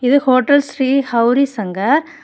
இது ஹோட்டல் ஶ்ரீ ஹவுரி சங்கர் .